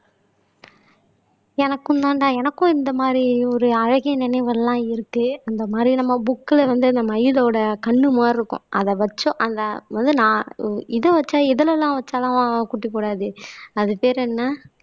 எனக்கும் தான்டா எனக்கும் இந்த மாதிரி ஒரு அழகிய நினைவெல்லாம் இருக்கு அந்த மாதிரி நம்ம புக்ல வந்து இந்த மயிலோட கண்ணு மாதிரி இருக்கும் அதை வச்சோம் அந்த இது வச்சா எதுல எல்லாம் வச்சாதான் குட்டி போடாது அது பேர் என்ன